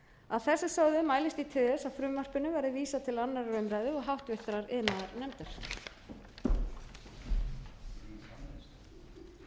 að þessu sögðu mælist ég til þess að frumvarpinu verði vísað til annarrar umræðu og háttvirtur iðnaðarnefndar